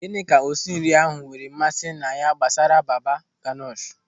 Gịnị ka osinri ahụ nwere mmasị na ya gbasara baba ganoush?